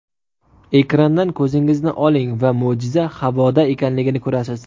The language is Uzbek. Ekrandan ko‘zingizni oling va mo‘jiza havoda ekanligini ko‘rasiz.